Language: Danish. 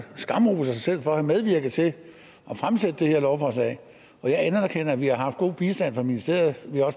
skamroser sig selv for at have medvirket til at fremsætte det her lovforslag jeg anerkender at vi har haft god bistand fra ministeriet